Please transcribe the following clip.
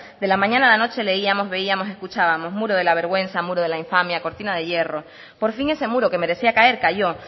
de la mañana a la noche leíamos veíamos escuchábamos muro de la vergüenza muro de la infamia cortina de hierro por fin ese muro que merecía caer calló